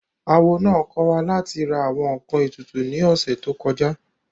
Awo náà kọ́ wa láti ra àwọn ǹkan ètùtù ní ọ̀sẹ̀ tó kọjá